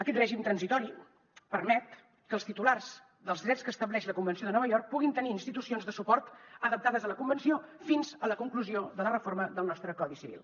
aquest règim transitori permet que els titulars dels drets que estableix la convenció de nova york puguin tenir institucions de suport adaptades a la convenció fins a la conclusió de la reforma del nostre codi civil